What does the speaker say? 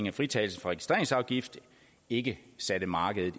af fritagelsen for registreringsafgift ikke satte markedet